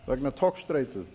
vegna togstreitu